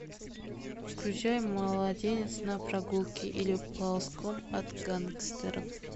включай младенец на прогулке или ползком от гангстеров